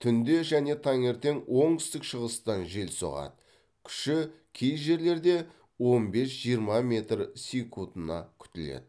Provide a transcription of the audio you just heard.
түнде және таңертең оңтүстік шығыстан жел соғады күші кей жерлерде он бес жиырма метр секундына күтіледі